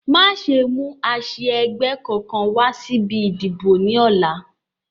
Má ṣe mú àsia ẹgbẹ́ kankan wá síbi ìdìbò ni ọ̀la